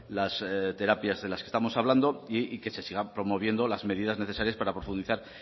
las terapias de las que estamos hablando y que se sigan promoviendo las medidas necesarias para profundizar